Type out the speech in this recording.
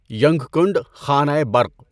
ینگکنڈ خانۂ برق